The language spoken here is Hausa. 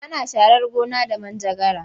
Ana sharar gona da manjagara.